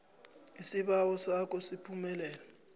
isibawo sakho siphumelele